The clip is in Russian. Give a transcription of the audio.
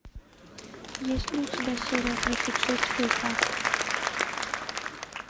есть ли у тебя серия тридцать шесть филфак